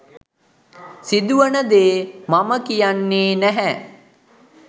සිදුවන දේ මම කියන්නේ නැහැ